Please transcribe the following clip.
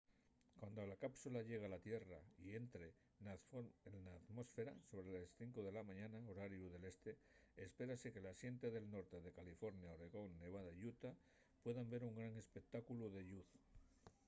cuando la cápsula llegue a la tierra y entre na atmósfera sobre les 5 de la mañana horariu del este espérase que la xente del norte de california oregón nevada y utah pueda ver un gran espectáculu de lluz